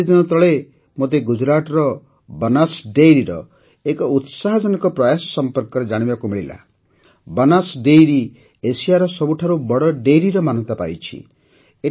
ଏଇ କିଛିଦିନ ତଳେ ମୋତେ ଗୁଜୁରାଟର ବନାସ୍ ଡାଏରୀର ଏକ ଉତ୍ସାହଜନକ ପ୍ରୟାସ ସମ୍ବନ୍ଧରେ ଜାଣିବାକୁ ମିଳିଲା ବନାସ୍ ଡାଏରୀ ଏସିଆର ସବୁଠାରୁ ବଡ଼ ଡାଏରୀର ମାନ୍ୟତା ପାଇଛି